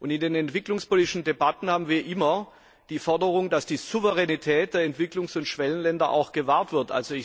In den entwicklungspolitischen Debatten haben wir immer die Forderung, dass die Souveränität der Entwicklungs und Schwellenländer auch gewahrt wird.